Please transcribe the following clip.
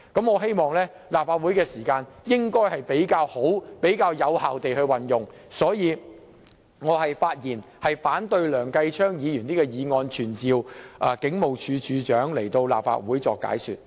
我希望立法會能夠妥善並有效地運用時間，所以我發言反對梁繼昌議員提出的這項議案，不贊成傳召警務處處長前來立法會解說。